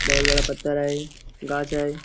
बहुत बड़ा पत्थर है गाछ है.